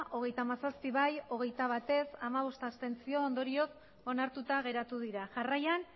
hogeita hamazazpi bai hogeita bat ez hamabost abstentzio ondorioz onartuta geratu dira jarraian